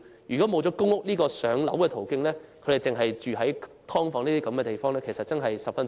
如果沒有公屋"上樓"這個途徑，他們便只能在"劏房"居住，處境真的十分淒慘。